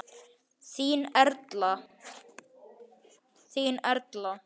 Þín Erla.